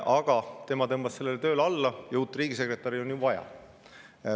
Aga tema tõmbas sellele tööle alla ja uut riigisekretäri on ju vaja.